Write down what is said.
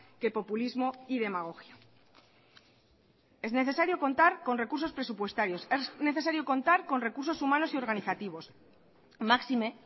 que populismo y demagogia es necesario contar con recursos presupuestarios es necesario contar con recursos humanos y organizativos máxime